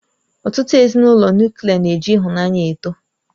Ọtụtụ Ezinụlọ Nuklià na-eji ịhụnanya eto